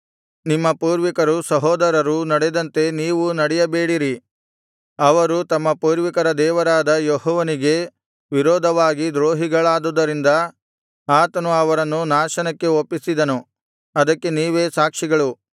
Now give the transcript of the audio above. ನಿಮ್ಮ ಪೂರ್ವಿಕರು ಸಹೋದರರೂ ನಡೆದಂತೆ ನೀವೂ ನಡೆಯಬೇಡಿರಿ ಅವರು ತಮ್ಮ ಪೂರ್ವಿಕರ ದೇವರಾದ ಯೆಹೋವನಿಗೆ ವಿರೋಧವಾಗಿ ದ್ರೋಹಿಗಳಾಗಿದ್ದುದರಿಂದ ಆತನು ಅವರನ್ನು ನಾಶನಕ್ಕೆ ಒಪ್ಪಿಸಿದನು ಅದಕ್ಕೆ ನೀವೇ ಸಾಕ್ಷಿಗಳು